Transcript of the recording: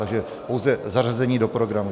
Takže pouze zařazení do programu.